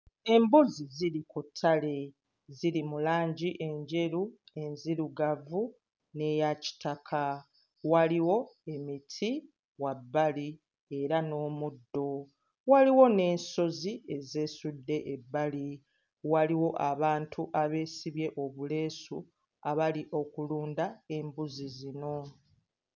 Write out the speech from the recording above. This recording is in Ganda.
Embuzi ziri ku ttale, ziri mu langi enjeru, enzirugavu n'eya kitaka. Waliwo emiti wabbali era n'omuddo, waliwo n'ensozi ezeesudde ebbali, waliwo abantu abeesibye obuleesu abali okulunda embuzi zino.